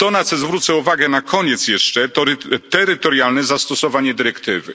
To, na co zwrócę uwagę na koniec jeszcze, to terytorialne zastosowanie dyrektywy.